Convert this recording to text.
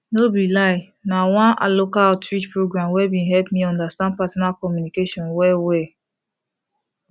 no be lie na one local outreach program wey been help me understand partner communication well well